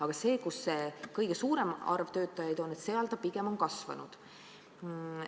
Aga valdkonnas, kus kõige suurem arv töötajaid on, on see näitaja pigem kasvanud.